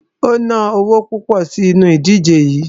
O ná owo púpọ̀ sínu ìdíje yií.